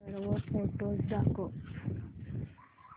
सर्व फोटोझ दाखव